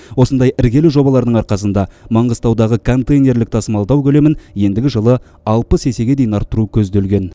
осындай іргелі жобалардың арқасында маңғыстаудағы контейнерлік тасымалдау көлемін ендігі жылы алпыс есеге дейін арттыру көзделген